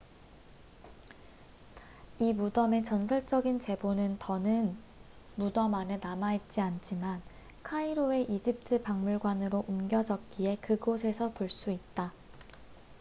이 무덤의 전설적인 재보는 더는 무덤 안에 남아있지 않지만 카이로의 이집트 박물관으로 옮겨졌기에 그곳에서 볼 수 있다